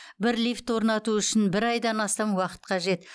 бір лифтті орнату үшін бір айдан астам уақыт қажет